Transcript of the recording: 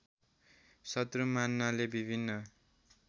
शत्रु मान्नाले विभिन्न